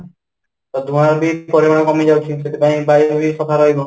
ତ ଧୂଆଁ ର ବି ପରିମାଣ କମିଯାଉଛି ସେଥିପାଇଁ ବାୟୁ ବି ସଫା ରହିବ